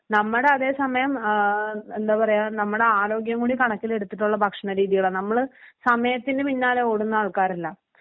നമ്മടെ അതേസമയം ആ എന്താ പറയാ നമ്മുടെ ആരോഗ്യം കൂടെ കണക്കിലെടുത്തിട്ടുള്ള ഭക്ഷണരീതികള നമ്മള് സമയത്തിന് പിന്നാലെ ഓടുന്ന ആൾക്കാരല്ല.